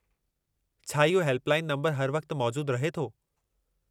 छा इहो हेल्पलाइन नंबरु हर वक़्तु मौजूदु रहे थो?